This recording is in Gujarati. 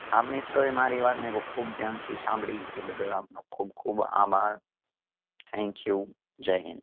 આમ મિત્રોએ મારી વાત ને બ ખૂબ ધ્યાન થી સાંભળી એ બદલ આપનો ખૂબ ખૂબ આભાર thank you જય હિંદ